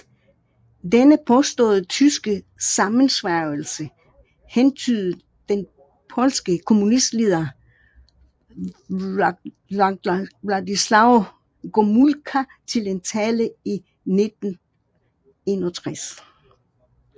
Denne påståede tyske sammensværgelse hentydede den polske kommunistleder Władysław Gomułka til i en tale i 1961